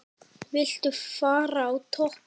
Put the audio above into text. Viltu fara á toppinn?